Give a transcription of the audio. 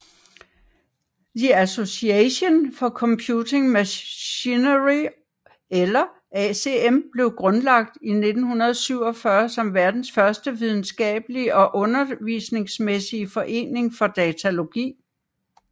The Association for Computing Machinery eller ACM blev grundlagt i 1947 som verdens første videnskabelige og undervisningsmæssige forening for datalogi